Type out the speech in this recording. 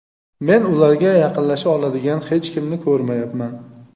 Men ularga yaqinlasha oladigan hech kimni ko‘rmayapman.